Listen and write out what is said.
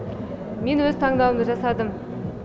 мен өз таңдауымды жасадым